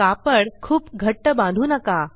कापड खूप घट्ट बांधू नका